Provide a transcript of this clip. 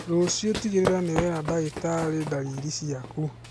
Rũciũ tigĩrĩra nĩwera ndagĩtarĩ ndariri ciaku